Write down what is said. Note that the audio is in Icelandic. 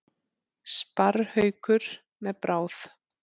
Sparrhaukur með bráð.